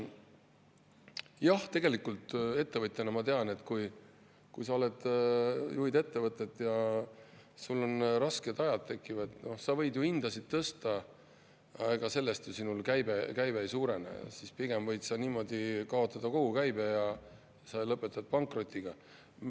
Jah, tegelikult ettevõtjana ma tean, et kui sa juhid ettevõtet ja sul tekivad rasked ajad, siis sa võid ju hindu tõsta, aga sellest sinu käive ei suurene, pigem võid sa niimoodi kaotada kogu käibe ja lõpetada pankrotiga.